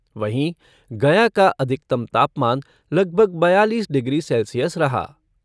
वहीं, गया का अधिकतम तापमान लगभग बयालीस डिग्री सेल्सियस रहा।